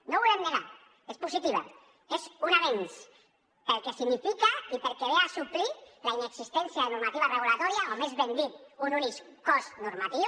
no ho volem negar és positiva és un avenç pel que significa i perquè ve a suplir la inexistència de normativa reguladora o més ben dit d’un únic cos normatiu